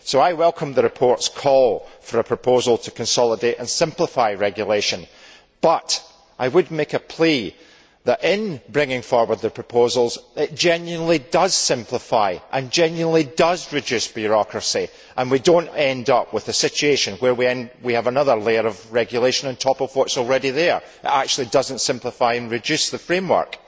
So I welcome the report's call for a proposal to consolidate and simplify regulation. But I would make a plea that, in bringing forward the proposals, it genuinely does simplify and genuinely does reduce bureaucracy, and that we do not end up with a situation where we have another layer of regulation on top of what is already there that actually does not simplify and reduce the framework.